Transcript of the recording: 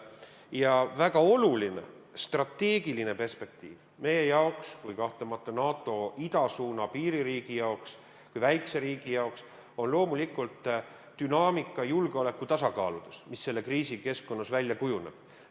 Ja väga oluline strateegiline perspektiiv meie kui kahtlemata NATO idasuuna piiririigi jaoks, kui väikese riigi jaoks on loomulikult dünaamika julgeoleku tasakaaludes, mis selle kriisi keskkonnas välja kujuneb.